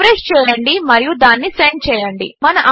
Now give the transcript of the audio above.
refresh చేయండి మరియు దానిని సెండ్ చేయండి